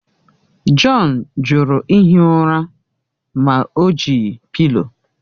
John jụrụ ihi ụra ma o jighị pịlo.